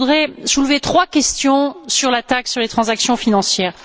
Je voudrais soulever trois questions sur la taxe sur les transactions financières.